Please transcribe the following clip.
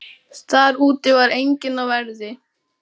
Þar úti fyrir var enginn á verði.